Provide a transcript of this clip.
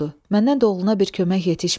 Məndən də oğluna bir kömək yetişmədi.